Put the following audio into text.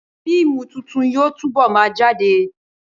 Fíìmù tuntun yóò túbọ̀ ma jáde